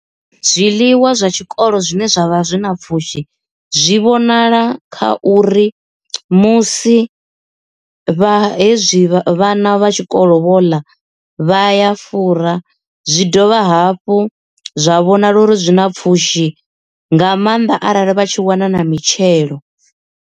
Zwiḽiwa zwa tshikolo zwine zwavha zwi na pfhushi zwi vhonala kha uri musi vha hezwi vhana vha tshikolo vho ḽa vha ya fura zwi dovha hafhu zwa vhonala uri zwi na pfhushi nga maanda arali vha tshi wana na mitshelo.